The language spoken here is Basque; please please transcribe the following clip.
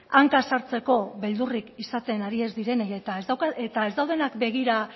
hanka sartzeko beldurrik izaten ari ez direnei eta ez daudenak begira